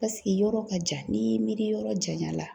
Paseke yɔrɔ ka jan, n'i y'i miiri yɔrɔ janya la.